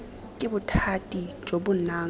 ke bothati jo bo nang